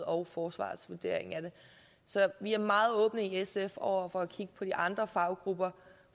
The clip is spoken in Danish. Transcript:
og forsvarets vurdering af det så vi er meget åbne i sf over for at kigge på de andre faggrupper